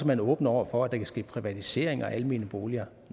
man er åben over for at der kan ske privatisering af almene boliger